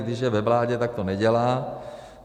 Když je ve vládě, tak to nedělá.